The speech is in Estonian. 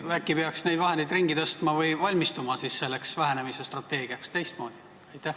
Äkki peaks neid vahendeid ringi tõstma või valmistuma selleks vähenemise strateegiaks teistmoodi?